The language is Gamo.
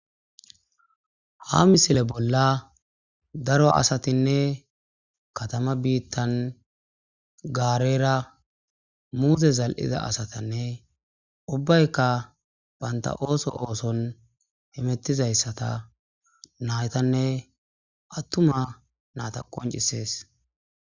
ha misile bolla daro asatinne katama biittan gaarera muzse zal7ida asatanne ubbaykka baynta ooso ooson hemettizayssata naytanne attuma naata qoncisees